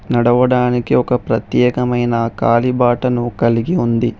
నడవడానికి ఒక ప్రత్యేకమైన కాలిబాటను కలిగి ఉంది.